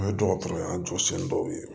An ye dɔgɔtɔrɔya jɔsen dɔw ye